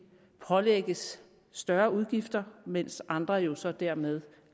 pålægges større udgifter mens andre jo så dermed